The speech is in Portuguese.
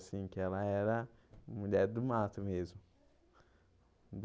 Assim, que ela era mulher do mato mesmo.